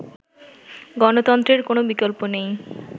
গণতন্ত্রের কোন বিকল্প নেই